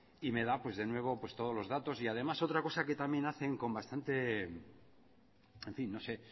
y me da pues de nuevo todos los datos y además otra cosa que también hacen con bastante en fin no sé